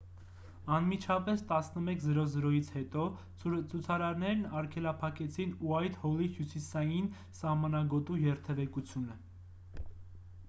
անմիջապես 11։00-ից հետո ցուցարարներն արգելափակեցին ուայթհոլի հյուսիսային սահմանագոտու երթևեկությունը: